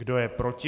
Kdo je proti?